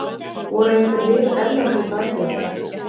Voru einhver lið erlendis á eftir þér?